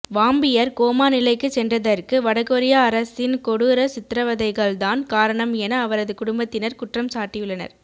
vampire கோமா நிலைக்கு சென்றதற்கு வடகொரிய அரசின் கொடூர சித்ரவதைகள் தான் காரணம் என அவரது குடும்பத்தினர் குற்றம் சாட்டியுள்ளனர்